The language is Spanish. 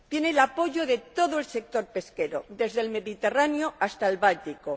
Tiene el apoyo de todo el sector pesquero, desde el Mediterráneo hasta el Báltico.